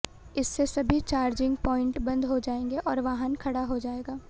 इससे सभी charging point बंद हो जाएंगे और वाहन खड़ा हो जाएगा